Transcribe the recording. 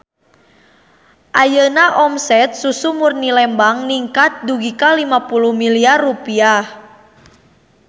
Ayeuna omset Susu Murni Lembang ningkat dugi ka 50 miliar rupiah